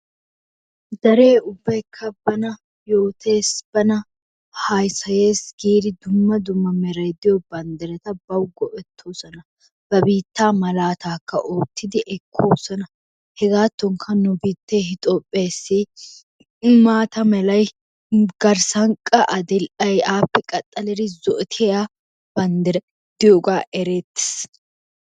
Deree ubbaykka bana yoottees, bana haasayees giidi dumma dumma meray diyo banddiraarata bawu go'ettoosona. Ba biittaa malaatakka oottidi ekkoosona hegaatookka nu biittee Etoophpheessi maata melay qa addil"ay appe qaxxalidi zo"otiya banddiray de'iyogaa erettees.